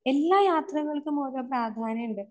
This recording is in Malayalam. എല്ലാ യാത്രകൾക്കും ഓരോ പ്രാധാന്യണ്ട്.